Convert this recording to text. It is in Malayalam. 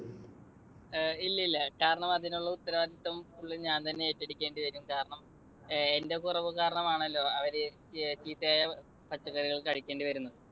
ഏയ് ഇല്ലില്ല. കാരണം അതിനുള്ള ഉത്തരവാദിത്വം full ഞാൻ തന്നെ ഏറ്റെടുക്കേണ്ടിവരും. കാരണം എന്റെ കുറവു കാരണമാണല്ലോ അവര് ചീത്തയായ പച്ചക്കറികൾ കഴിക്കേണ്ടിവരുന്നത്.